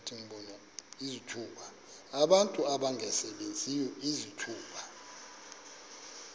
abantu abangasebenziyo izithuba